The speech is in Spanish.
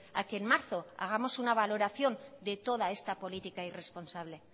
a que en marzo hagamos una valoración de toda esta política irresponsable